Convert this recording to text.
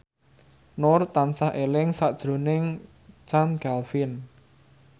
Nur tansah eling sakjroning Chand Kelvin